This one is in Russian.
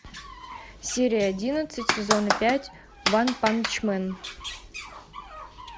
серия одиннадцать сезона пять ванпанчмен